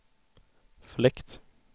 fläkt